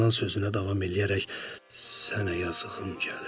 İlan sözünə davam eləyərək sənə yazığım gəlir.